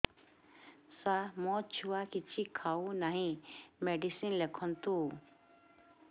ସାର ମୋ ଛୁଆ କିଛି ଖାଉ ନାହିଁ ମେଡିସିନ ଲେଖନ୍ତୁ